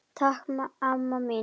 Takk amma mín.